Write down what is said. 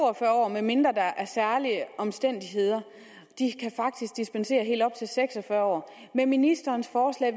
medmindre der er særlige omstændigheder de kan faktisk dispensere helt op til seks og fyrre år med ministerens forslag